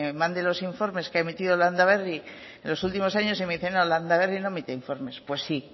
me mande los informes que ha emitido landaberri en los últimos años y me dice no landaberri no emite informes pues